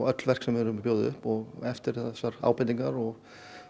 öll verk sem við bjóðum upp og eftir þessar ábendingar og